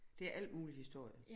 Det er alt muligt historie